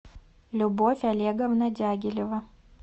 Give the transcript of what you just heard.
любовь олеговна дягилева